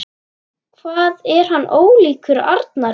Hvað hann er ólíkur Arnari!